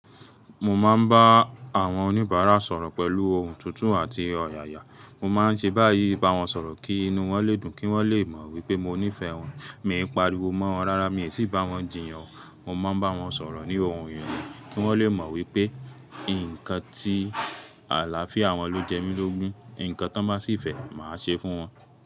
Mo máa ń bá àwọn oníbàárà sọ̀rọ̀ pẹ̀lú ohùn tutu àti ọ̀yàyà, mo máa ń ṣe báyìí bá wọn sọ̀rọ̀ kí inú wọn lè dùn, kí wọ́n lè mọ̀ wípé mo nífẹ̀ẹ́ wọn, mi ń pariwo mọ́ wọn, rárá mi ò tí ì bá wọn jiyàn, mo máa ń bá wọn sọ̀rọ̀ ní ohùn irele. Kí wọ́n lè mọ̀ wípé nǹkan tí àlàáfíà wọn ló jẹ mí lógún, nǹkan tí wọ́n bá sì fẹ́, màá ṣe fún wọn.